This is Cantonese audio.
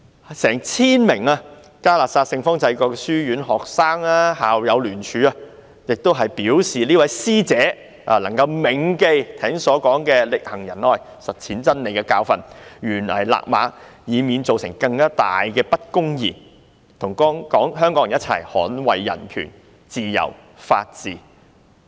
近千名嘉諾撒聖方濟各書院的學生和校友聯署，希望這位師姐能夠銘記剛才說"力行仁愛實踐真理"的教訓，懸崖勒馬，以免造成更大的不公義，與香港人一同捍衞人權、自由、法治。